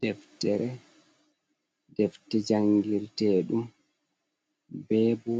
Ɗeftere. deftere jangirteɗum, be bo